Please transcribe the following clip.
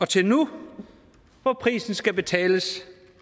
til nu hvor prisen skal betales